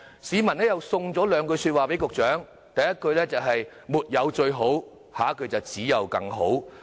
市民又送了兩句說話給局長，第一句是："沒有最好"，下一句是："只有更好"。